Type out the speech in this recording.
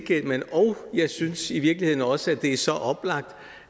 og jeg synes i virkeligheden også at det er så oplagt